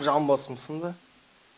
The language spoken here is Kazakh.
жамбасым сынды